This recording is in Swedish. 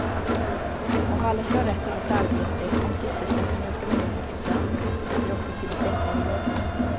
Om alla ska ha rätt till ett arbete, om sysselsättningen ska vara hundra procent måste det också finnas enklare jobb.